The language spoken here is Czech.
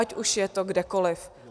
Ať už je to kdekoliv.